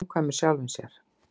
Samkvæmur sjálfum sér.